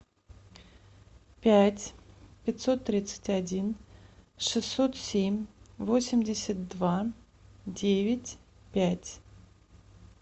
пять пятьсот тридцать один шестьсот семь восемьдесят два девять пять